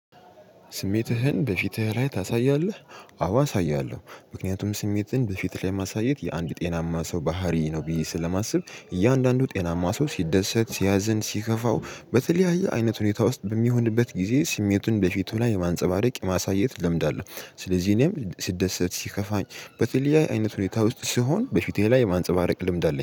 ስሜትህን በፊትህ ላይ ታሳያለህ? አዎ አሳያለሁ። ምክንያቱም ስሜትን በፊት ላይ ማሳየት የአንድ ጤናማ ሰው ባህሪ ነው ብዬ ስለማስብ እያንዳንዱ ጤናማ ሰው ሲደሰት ሲያዝን ሲከፋው በተለያየ አይነት ሁኔታ ውስጥ በሚሆንበት ጊዜ ስሜቱን በፊቱ ላይ የማንፀባረቅ የማሳየት ለምድ አለሁ ስለዚህ እኔም ስደሰት ሲከፋኝ በተለያዬ አይነት ሁኔታ ውስጥ ስሆን በፊቴ ላይ የማንፀባረቅ ልምድ አለኝ።